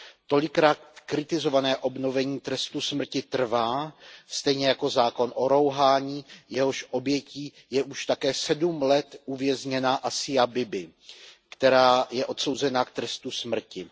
Tolikrát kritizované obnovení trestu smrti trvá, stejně jako zákon o rouhání, jehož obětí je již také 7 let uvězněná Asia Bibi, která je odsouzena k trestu smrti.